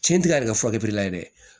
Cɛn ti kari ka fɔ dɛ